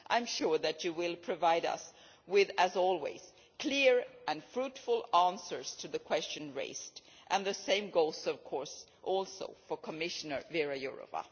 I am sure that you will provide us, as always, with clear and fruitful answers to the question raised, and the same goes, of course, for Commissioner Věra Jourová.